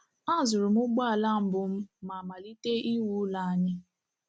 A zụrụ m ụgbọala mbụ m ma malite iwu ụlọ anyị